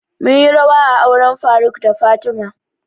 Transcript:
Mun yi rawa a auren faruk da fatima